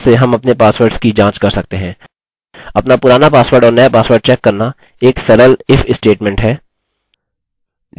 अपना पुराना पासवर्ड और नया पासवर्ड चेक करना एक सरल if स्टेटमेंट है